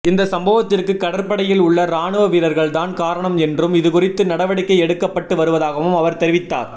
இந்த சம்பவத்திற்கு கடற்படையில் உள்ள ராணுவ வீரர்கள் தான் காரணம் என்றும் இதுகுறித்து நடவடிக்கை எடுக்கப்பட்டு வருவதாகவும் அவர் தெரிவித்தார்